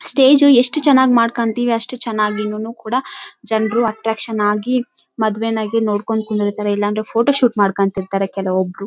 ತಿ ನೀಲಿ ಬಣ್ಣದ ಹೂವುಗಳಿಂದ ಅಲಂಕರಿಸಿದ್ದಾರೆ. ಹಿಂ ಅದರ ಕೆಳಗೆ ಹಸಿರು ಬಣ್ಣದ ಮ್ಯಾಟ್ ಅನ್ನು ಹಾಕಿದ್ದಾರೆ.